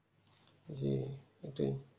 জী ওটাই